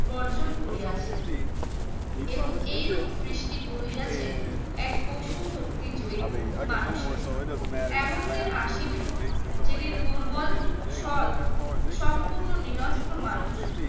বর্জন করিয়াছে এবং এরূপ সৃষ্টি করিয়াছে এক পশু শক্তি জয় মানুষের এমন দিন আসিবে যেদিন দুর্বল সৎ সম্পূর্ণ নিরস্ত্র মানুষ